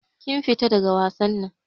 Kin fita daga wasan nan.